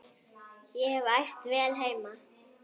Ég hef æft vel heima.